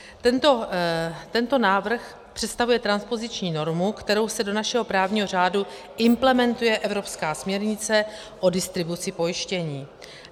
Tento návrh představuje transpoziční normu, kterou se do našeho právního řádu implementuje evropská směrnice o distribuci pojištění.